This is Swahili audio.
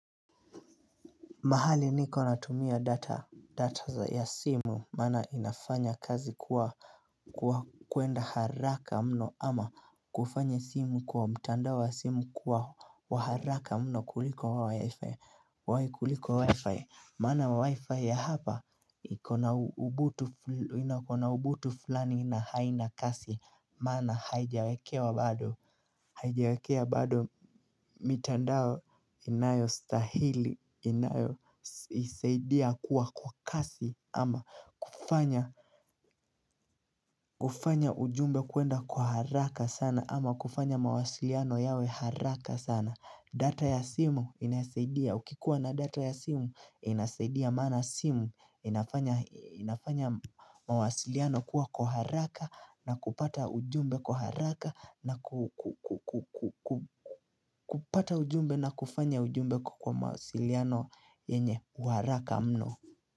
Mahali niko natumia data ya simu maana inafanya kazi kuwa kuenda haraka mno ama kufanya simu kwa mtandao wa simu kuwa wa haraka mno kuliko wa wifi. Maana wa wifi ya hapa ikona ubutu fulani na haina kasi Maana haijawekewa bado, haijiwakewa bado mitandao inayostahili inayoisaidia kuwa kwa kasi ama kufanya kufanya ujumbe kuenda kwa haraka sana ama kufanya mawasiliano yawe haraka sana, data ya simu inasaidia, ukikuwa na data ya simu inasaidia maana simu inafanya mawasiliano kuwa kwa haraka na kupata ujumbe kwa haraka na kupata ujumbe na kufanya ujumbe kwa mawasiliano yenye wa haraka mno.